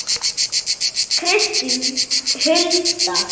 Kristín Hulda.